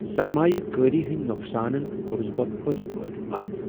سرمایہ کٲری ہندۍ نقصانن كورُس بہٕ پٔزۍ پٲٹھۍ پتھ ۔